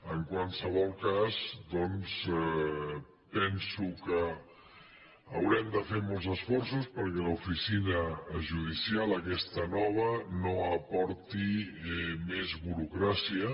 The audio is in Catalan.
en qualsevol cas doncs penso que haurem de fer molts esforços perquè l’oficina judicial aquesta nova no aporti més burocràcia